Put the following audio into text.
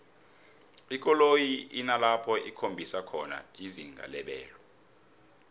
ikoloyi inalapho ikhombisa khona izinga lebelo